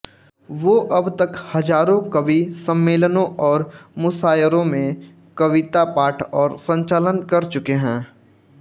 वो अब तक हज़ारों कवि सम्मेलनों और मुशायरों में कवितापाठ और संचालन कर चुके हैं